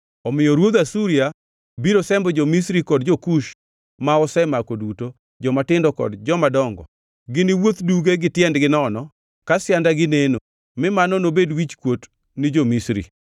omiyo ruodh Asuria biro sembo jo-Misri kod jo-Kush ma osemako duto, jomatindo kod jomadongo. Giniwuoth duge gi tiendegi nono, ka siandagi neno, mi mano nobed wichkuot ni jo-Misri.